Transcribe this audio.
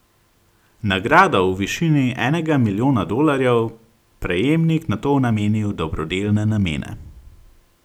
Nagrado v višini enega milijona dolarjev, prejemnik nato nameni v dobrodelne namene.